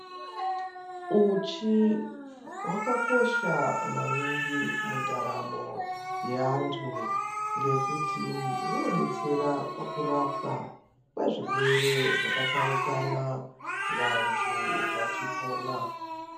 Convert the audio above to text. Uchi hwakakosha maningi mundaramo yeantu. Ngekuti hunodetsera pakurapwa kwezvirwere zvakatsaukana vantu vachipona.